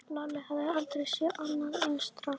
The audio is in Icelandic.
Lalli hafði aldrei séð annað eins drasl.